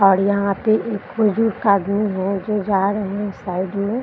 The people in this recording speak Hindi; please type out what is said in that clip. और यहाँ पे एक बुजुर्ग आदमी हैं जो जा रहे हैं साइड में।